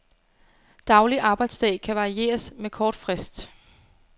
Daglig arbejdsdag kan varieres med kort frist.